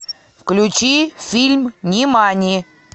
включи фильм нимани